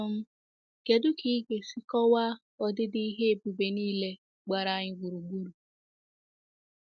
um Kedu ka ị ga-esi kọwaa ọdịdị nke ihe ebube niile gbara anyị gburugburu?